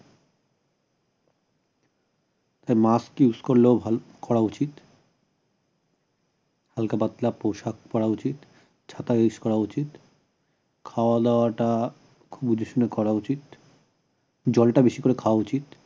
তা mask use করলেও ভাল করা উচিত হালকা পাতলা পোশাক পড়া উচিত চাটাও use করা উচিত খাওয়াদাওয়াটা খুব বুঝেশুনে করা উচিত জলটা বেশি করে খায়া উচিত